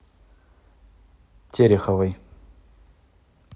тереховой